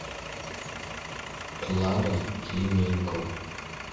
клара клименко